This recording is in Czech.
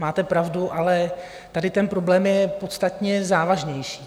Máte pravdu, ale tady ten problém je podstatně závažnější.